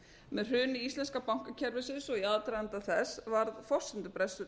með hruni íslenska bankakerfisins og í aðdraganda þess varð forsendubrestur